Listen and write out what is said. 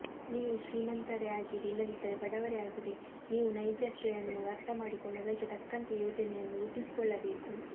ನೀವು ಶ್ರೀಮಂತರೇ ಆಗಿರಿ ಇಲ್ಲದಿದ್ದರೆ ಬಡವರೇ ಆಗಿರಿ ನೀವು ನೈಜತೆಯನ್ನು ಅರ್ಥಮಾಡಿಕೊಂಡು ಅದಕ್ಕೆ ತಕ್ಕಂತೆ ಯೋಜನೆಯನ್ನು ರೂಪಿಸಿಕೊಳ್ಳಬೇಕು